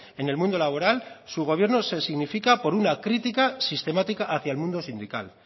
en el mundo laboral su gobierno se significa por una crítica sistemática hacia el mundo sindical